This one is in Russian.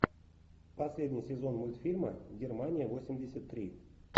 последний сезон мультфильма германия восемьдесят три